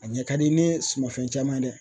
A ɲɛ ka di ni sumanfɛn caman ye dɛ.